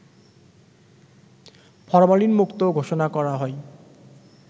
ফরমালিনমুক্ত ঘোষণা করা হয়